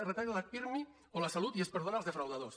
es retalla la pirmi o la salut i es perdonen els defraudadors